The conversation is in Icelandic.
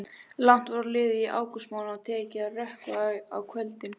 Langt var liðið á ágústmánuð og tekið að rökkva á kvöldin.